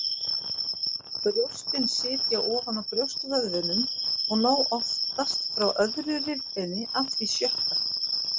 Brjóstin sitja ofan á brjóstvöðvunum og ná oftast frá öðru rifbeini að því sjötta.